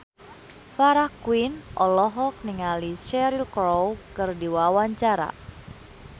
Farah Quinn olohok ningali Cheryl Crow keur diwawancara